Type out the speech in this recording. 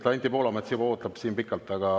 Anti Poolamets juba ootab siin pikalt.